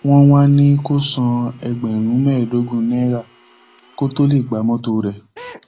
wọn wàá ní kó san ẹgbẹrún mẹẹẹdógún náírà kó tóó lè gba mọtò rẹ